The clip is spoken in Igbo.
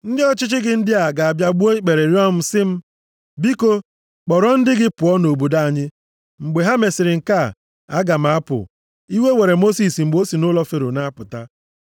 Ndị ọchịchị gị ndị a ga-abịa gbuo ikpere rịọọ m sị m, ‘Biko kpọrọ ndị gị pụọ nʼobodo anyị.’ Mgbe ha mesịrị nke a, aga m apụ.” Iwe were Mosis mgbe o si nʼụlọ Fero na-apụta.